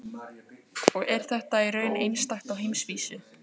Og þetta er í raun einstakt á heimsvísu?